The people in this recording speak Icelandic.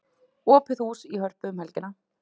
Opið hús í Hörpu um helgina